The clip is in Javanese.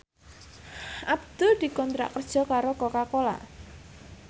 Abdul dikontrak kerja karo Coca Cola